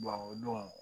o don